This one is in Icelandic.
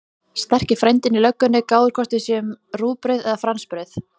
Sterki frændinn í löggunni gáir hvort við séum rúgbrauð eða fransbrauð.